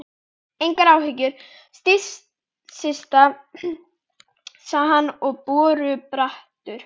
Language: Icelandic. Engar áhyggjur, Systa sagði hann borubrattur.